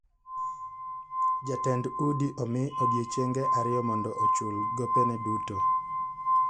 Jatend udi omi odiechienge ariyo mondo ochul gobene duto .